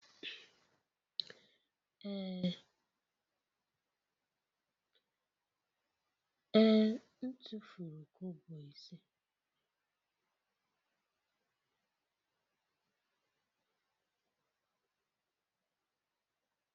Ee, m tufuru kobo ise.